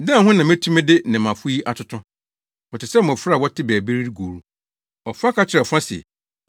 “Dɛn ho na metumi de nnɛmmafo yi atoto? Wɔte sɛ mmofra a wɔte baabi redi agoru. Ɔfa ka kyerɛ ɔfa se,